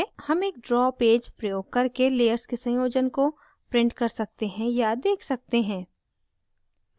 हम एक draw page प्रयोग करके layers के संयोजन को print कर सकते हैं या देख सकते हैं